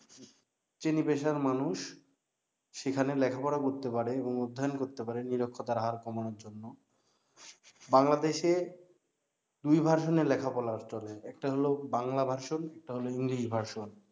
শ্রেনী পেশার মানুষ সেখানে লেখাপড়া করতে পারে এবং অধ্যয়ন করতে পারে নিরক্ষরতার হার কমানো জন্য বাংলাদেশের দুই ভার্সনের লেখাপড়া চলে একটা হলো বাংলা version আর একটা হলো english version